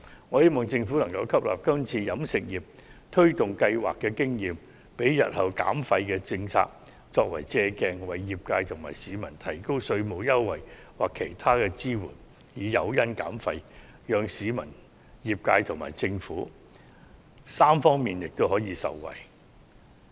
我希望政府能吸納今次與飲食業推動相關計劃的經驗，以作日後減廢政策的借鑒，為業界和市民提供稅務優惠或其他支援，作為減廢的誘因，令市民、業界和政府三方面均可受惠。